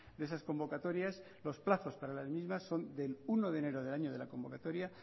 de esas convocatorias los plazos para las mismas son del uno de enero del año de la convocatoria